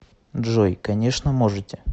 джой конечно можете